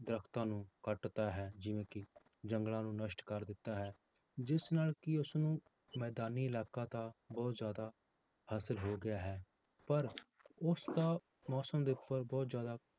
ਦਰੱਖਤਾਂ ਨੂੰ ਕੱਟ ਤਾ ਹੈ ਜਿਵੇਂ ਕਿ ਜੰਗਲਾਂ ਨੂੰ ਨਸ਼ਟ ਕਰ ਦਿੱਤਾ ਹੈ, ਜਿਸ ਨਾਲ ਕਿ ਉਸਨੂੰ ਮੈਦਾਨੀ ਇਲਾਕਾ ਤਾਂ ਬਹੁਤ ਜ਼ਿਆਦਾ ਹਾਸ਼ਿਲ ਹੋ ਗਿਆ ਹੈ, ਪਰ ਉਸਦਾ ਮੌਸਮ ਦੇ ਉੱਪਰ ਬਹੁਤ ਜ਼ਿਆਦਾ